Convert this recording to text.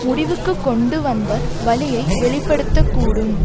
முடிவுக்கு கொண்டு வந்த வழியை வெளி படுத்த கூடும்